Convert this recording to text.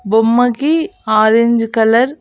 బొమ్మకి orange colour .